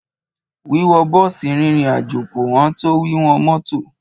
Wíwọ bọ́ọ̀sì rìnrìn àjò kò ẹn tó wíwọ mọ́tọ̀.